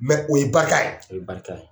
Mɛ o ye barika. O ye barika ye.